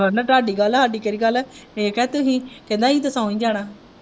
ਕਹਿੰਦਾ ਤੁਹਾਡੀ ਗੱਲ ਹੈ ਸਾਡੀ ਕਿਹੜੀ ਗੱਲ ਹੈ ਅਸੀਂ ਕਿਹਾ ਤੁਸੀਂ ਕਹਿੰਦਾ ਅਸੀਂ ਤੇ ਸੋਂ ਹੀ ਜਾਣਾ।